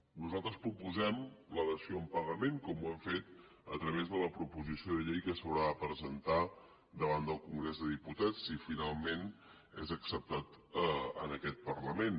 nosaltres proposem la dació en pagament com ho hem fet a través de la proposició de llei que s’haurà de presentar davant del congrés dels diputats si finalment és acceptat en aquest parlament